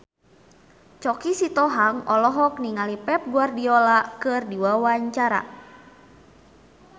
Choky Sitohang olohok ningali Pep Guardiola keur diwawancara